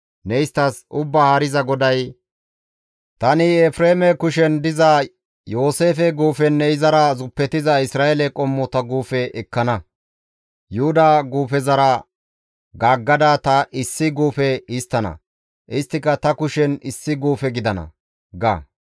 ne isttas: Ubbaa Haariza GODAY, ‹Tani Efreeme kushen diza Yooseefe guufenne izara zuppetiza Isra7eele qommota guufe ekkana; Yuhuda guufezara gaaggada ta issi guufe histtana; isttika ta kushen issi guufe gidana› ga.